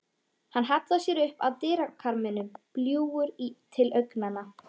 Hann hallar sér upp að dyrakarminum, bljúgur til augnanna.